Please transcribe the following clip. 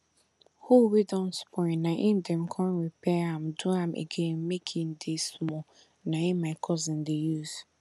hoe wey don spoil na em dem con repair am do am again make em dey small na em my cousin dey use